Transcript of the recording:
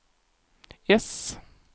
äss